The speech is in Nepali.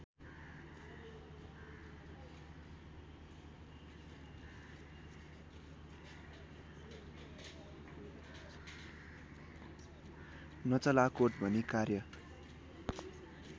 नचलाकोट भनी कार्य